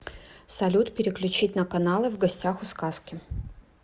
салют переключить на каналы в гостях у сказки